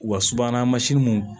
Wa subahana mansin mun